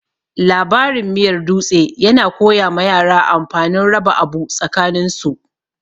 Labarin miyar dutse yana koya ma yara amfanin raba abu tsakanin su.